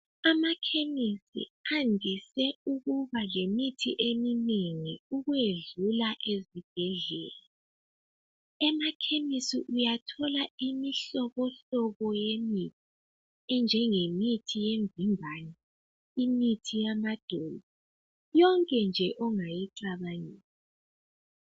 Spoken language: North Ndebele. Amakhemisi andise ukuba lemithi eminengi ukwedlula ezibhedlela. Emakhemesi uyathola imihlobohlobo yemithi enjengemithi yemvimbano imithi yamadolo yonke nje ongayicabangela.